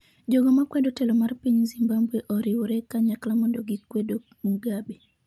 jogo makwedo telo mar piny Zimbabwe oriwre kanyakla mondo gikwedo Mugabe